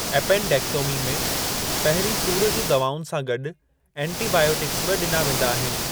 Appendectomy में पहिरीं सूर जूं दवाउनि सां गॾु एंटीबायोटिक्स बि ॾिना वेंदा आहिनि।